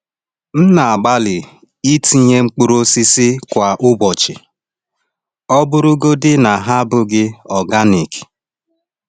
M na-agbalị itinye mkpụrụ osisi kwa ụbọchị, ọ bụrụgodị na ha abụghị organic.